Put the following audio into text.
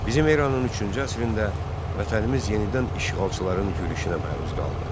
Bizim eranın üçüncü əsrində vətənimiz yenidən işğalçıların yürüşünə məruz qaldı.